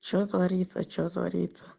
что твовориться что твориться